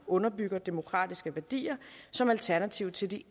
underbygger demokratiske værdier som alternativ til de